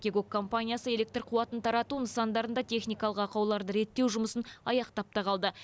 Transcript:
кигок компаниясы электр қуатын тарату нысандарында техникалық ақауларды реттеу жұмысын аяқтап та қалды